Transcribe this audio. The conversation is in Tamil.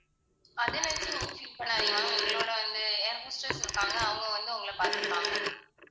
அதை நினச்சு நீங்க feel பண்ணாதீங்க ma'am எங்களோட வந்து air hostess இருப்பாங்க அவங்க வந்து உங்களை பாத்துப்பாங்க.